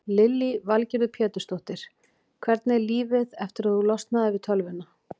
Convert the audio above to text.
Lillý Valgerður Pétursdóttir: Hvernig er lífið eftir að þú losnaðir við tölvuna?